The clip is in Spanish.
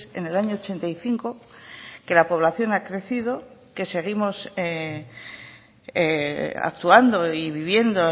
en el año ochenta y cinco que la población ha crecido que seguimos actuando y viviendo